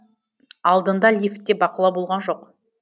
алдында лифтте бақылау болған жоқ